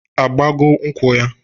Agbago nkwụ ya?